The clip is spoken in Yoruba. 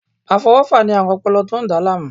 Afọwọfa ni aarun ọpọlọ to n da laamu